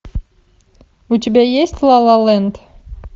у тебя есть лалаленд